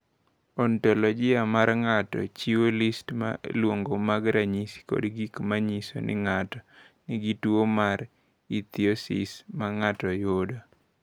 "Ontoloji mar ng’ato chiwo list ma luwogi mag ranyisi kod gik ma nyiso ni ng’ato nigi tuwo mar Ichthyosis, ma ng’ato yudo."